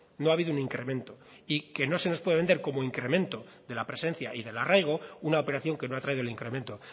no ha habido un incremento y que no se nos puede vender como incremento de la presencia y del arraigo una operación que no ha traído el incremento